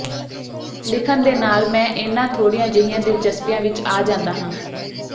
ਲਿਖਣ ਦੇ ਨਾਲ ਮੈਂ ਇਹਨਾਂ ਥੋੜ੍ਹੀਆਂ ਜਿਹੀਆਂ ਦਿਲਚਸਪੀਆਂ ਵਿੱਚ ਆ ਜਾਂਦਾ ਹਾਂ